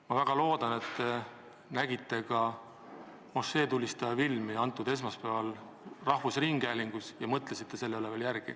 Ma väga loodan, et te nägite esmaspäeval rahvusringhäälingus ka mošeetulistajast tehtud filmi ja mõtlesite selle üle järele.